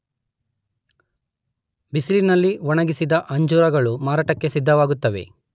ಬಿಸಿಲಿನಲ್ಲಿ ಒಣಗಿಸಿದ ಅಂಜೂರಗಳು ಮಾರಾಟಕ್ಕೆ ಸಿದ್ಧವಾಗುತ್ತವೆ.